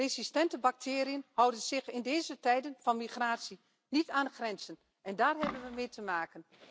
Resistente bacteriën houden zich in deze tijden van migratie niet aan de grenzen en daar hebben we allemaal mee te maken.